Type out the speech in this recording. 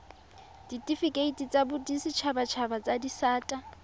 ditifikeiti tsa boditshabatshaba tsa disata